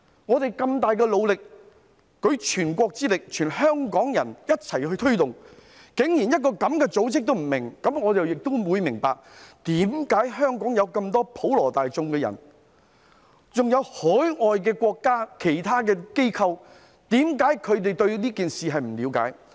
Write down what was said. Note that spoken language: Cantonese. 我們付出萬分努力，舉全國之力，全香港人一起推動，竟然連這樣的一個組織也不明白，於是我了解到為何香港普羅大眾，以至海外國家的其他機構也不了解這件事。